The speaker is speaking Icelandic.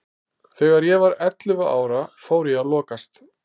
Þegar ég var ellefu ára fór ég að lokast.